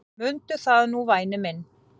Mundu það nú væni minn.